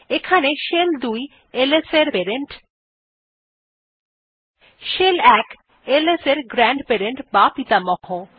এখানে shell ২ ls এর parent shell ১ ls এর গ্র্যান্ডপেরেন্ট বা পিতামহ